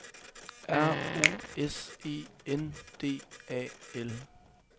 R O S E N D A L